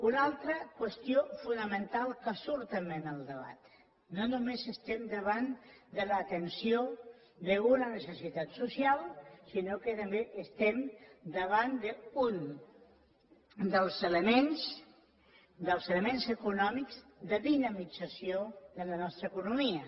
una altra qüestió fonamental que surt també en el debat no només estem davant de l’atenció d’una necessitat social sinó que també estem davant d’un dels elements econòmics de dinamització de la nostra economia